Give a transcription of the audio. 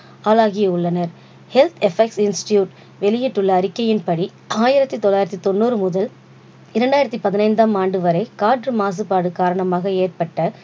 ஆளாகியுள்ளனர். health effect institute வெளியிட்டுள்ள அறிக்கையின்படி ஆயரத்தி தொள்ளாயிரத்தி தொண்ணூறு முதல் இரண்டாயிரத்தி பதினைந்தாம் ஆண்டு வரை காற்று மாசுப்பாடு காரணமாக ஏற்பட்ட